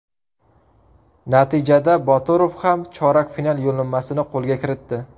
Natijada Boturov ham chorak final yo‘llanmasini qo‘lga kiritdi.